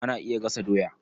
Ana iya gasa doya.